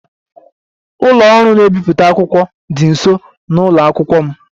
Ụlọ ọrụ na-ebipụta akwụkwọ dị nso na ụlọ akwụkwọ m